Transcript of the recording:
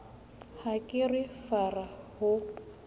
ha ke re fara ho